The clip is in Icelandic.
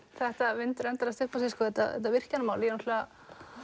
þetta vindur endalaust upp á sig þetta þetta virkjanamál ég náttúrulega